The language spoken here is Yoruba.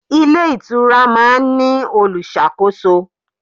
Ilé ìtura máa ń ní olùṣàkóso.